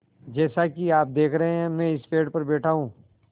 जैसा कि आप देख रहे हैं मैं इस पेड़ पर बैठा हूँ